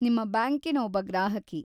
ನಿಮ್ಮ ಬ್ಯಾಂಕಿನ ಒಬ್ಬ ಗ್ರಾಹಕಿ.